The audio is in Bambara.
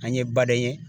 An ye baden ye